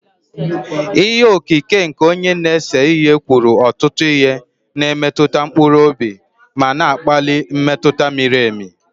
Ihe okike nke onye na-ese ihe kwuru ọtụtụ ihe, na-emetụ mkpụrụ obi ma na-akpali mmetụta miri emi